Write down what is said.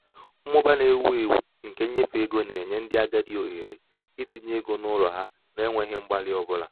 mmụba na-ewu ewu nke nnyefe ego na-enye ndị agadi ohere itinye ego n'ụlọ ha n'enweghị mgbalị ọ bụla.